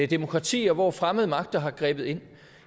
demokratier hvor fremmede magter har grebet ind